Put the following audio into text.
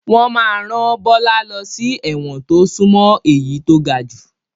Wọn máa ràn Bọlá lọ sí ẹ̀wọ̀n to sún mọ́ èyí to gajù